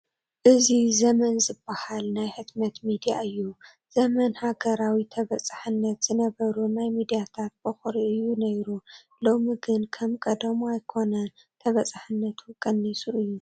እዚ ዘመን ዝበሃል ናይ ሕትመት ሚድያ እዩ፡፡ ዘመን ሃገራዊ ተበፃሕነት ዝነበሩ ናይ ሚድያታት በኲሪ እዩ ነይሩ፡፡ ሎሚ ግን ከም ቀደሙ ኣይኮነን፡፡ ተበፃሕነቱ ቀኒሱ እዩ፡፡